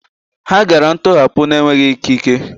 Ha gara ntọhapụ n'enweghị ikike.